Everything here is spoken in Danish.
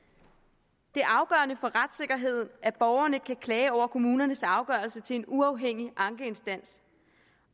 det er afgørende for retssikkerheden at borgerne kan klage over kommunernes afgørelse til en uafhængig ankeinstans